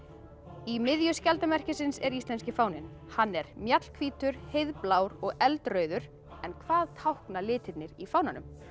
í miðju skjaldarmerkisins er íslenski fáninn hann er mjallhvítur heiðblár og eldrauður en hvað tákna litirnir í fánanum